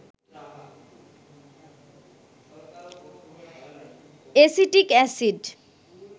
acetic acid